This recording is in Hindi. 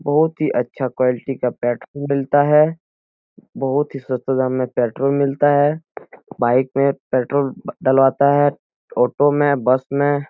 बहुत ही अच्छा क्वालटी का पेट मिलता है बहुत ही सस्ते दाम में पेट्रोल मिलता है बाइक में पेट्रोल डलवाता है ऑटो में बस में।